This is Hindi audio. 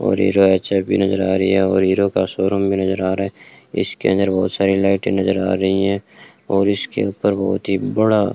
और हीरा एच_एफ भी नज़र आ रही है और हीरों का शोरूम भी नज़र आ रहा है इसके अंदर बहोत सारी लाइटें नज़र आ रही है और इसके ऊपर बहोत ही बड़ा --